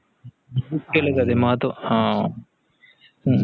केले जाते महत्त्व आह अं